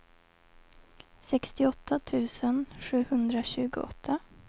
sextioåtta tusen sjuhundratjugoåtta